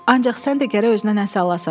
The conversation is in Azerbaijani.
Ancaq sən də gərək özünə nəsə alasan.